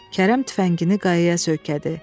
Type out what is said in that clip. Kərəm tüfəngini qayaya söykədi.